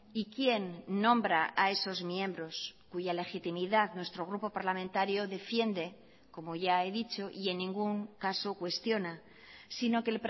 y quién nombra a esos miembros cuya legitimidad nuestro grupo parlamentario defiende como ya he dicho y en ningún caso cuestiona sino que